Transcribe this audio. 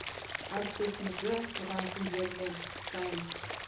әріптесімізді туған күндерімен құттықтаймыз